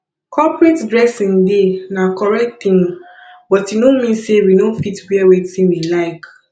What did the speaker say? corporate dressing dey na correct thing but e no mean sey we no fit wear wetin we like